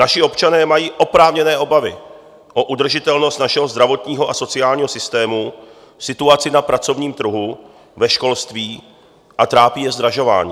Naši občané mají oprávněné obavy o udržitelnost našeho zdravotního a sociálního systému, situaci na pracovním trhu, ve školství a trápí je zdražování.